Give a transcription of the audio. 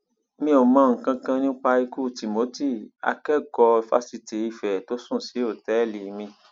mi ò mọ nǹkan kan nípa ikú timothy akẹkọọ fásitì ife tó sùn sí òtẹẹlì mi